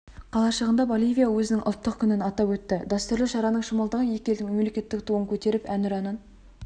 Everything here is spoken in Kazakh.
қалашығында боливия өзінің ұлттық күнін атап өтті дәстүрлі шараның шымылдығы екі елдің мемлекеттік туын көтеріп әнұранын